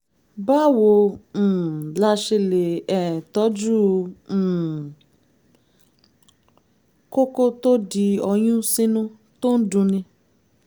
báwo um la ṣe um lè tọ́jú um kókó tó di ọyún sínú tó ń dunni?